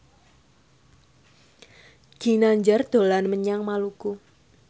Ginanjar dolan menyang Maluku